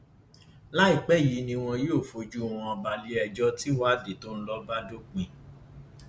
láìpẹ yìí ni wọn yóò fojú wọn balẹẹjọ tìwádìí tó ń lọ bá dópin